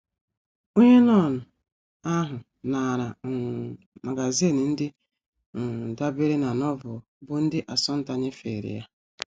Onye nọn ahụ naara um magazin ndị um dabeere na Novel bụ́ ndị Assunta nyefere ya.